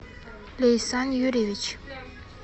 лейсан юрьевич